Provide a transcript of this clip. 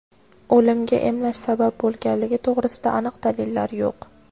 O‘limga emlash sabab bo‘lganligi to‘g‘risida aniq dalillar yo‘q.